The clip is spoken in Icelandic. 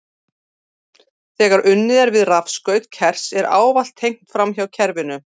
Þegar unnið er við rafskaut kers er ávallt tengt framhjá kerinu.